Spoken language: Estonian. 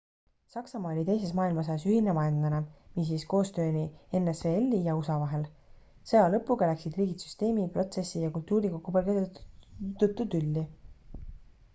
saksamaa oli teises maailmasõjas ühine vaenlane mis viis koostööni nsvl-i ja usa vahel sõja lõpuga läksid riigid süsteemi protsessi ja kultuuri kokkupõrgete tõttu tülli